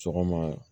Sɔgɔma